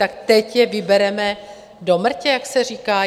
Tak teď je vybereme do mrtě, jak se říká?